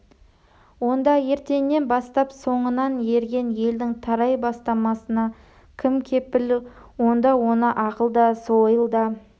онда ертеңнен бастап соңынан ерген елдің тарай бастамасына кім кепіл онда оны ақыл да сойыл да